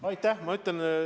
Aitäh!